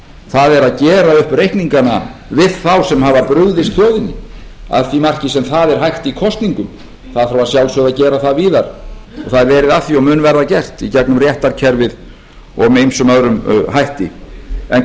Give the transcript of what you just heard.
það er að gera upp reikningana við þá sem hafa brugðist þjóðinni að því marki sem það er hægt í kosningum það þarf að sjálfsögðu að gera það víðar það er verið að því og mun verða gert í gegnum réttarkerfið og með ýmsum öðrum hætti en